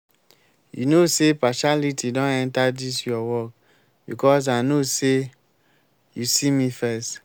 you no say partiality don enter dis your work because i know say you see me first